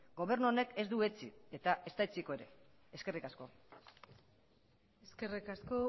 gobernu honek ez du etsi eta ez da etsiko ere eskerrik asko eskerrik asko